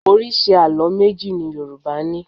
Oríṣi àló méjì ni Yorùbá ní.